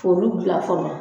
k'olu dilan fɔlɔ